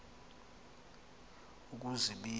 ukuzibika